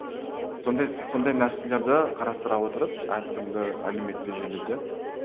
сондай сондай нәрселерді қарастыра отырып әртүрлі әлеуметтік желіде